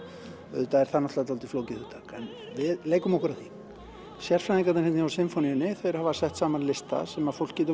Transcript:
auðvitað er það náttúrulega dálítið flókið hugtak en við leikum okkur að því sérfræðingarnir hérna hjá Sinfóníunni hafa sett saman lista sem fólk getur